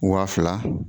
Waa fila